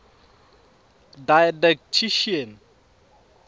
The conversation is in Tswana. didactician